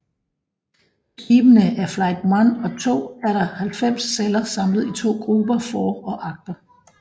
På skibene af Flight I og II er der 90 celler samlet i to grupper for og agter